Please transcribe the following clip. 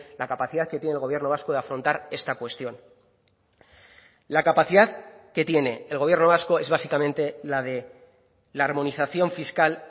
la capacidad que tiene el gobierno vasco de afrontar esta cuestión la capacidad que tiene el gobierno vasco es básicamente la de la armonización fiscal